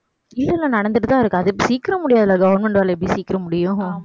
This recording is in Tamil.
இல்லை இல்லை நடந்துட்டுதான் இருக்கு. அது சீக்கிரம் முடியாது government வேலை எப்படி சீக்கிரம் முடியும்